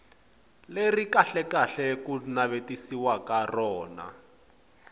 leri kahlekahle ku navetisiwaka rona